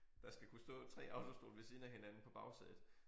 Der skal kunne stå 3 autostole ved siden af hinanden på bagsædet